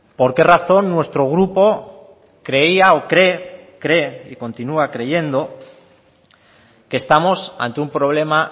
por qué razón nuestro grupo creía o cree cree y continúa creyendo que estamos ante un problema